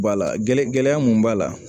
Bala gɛlɛn mun b'a la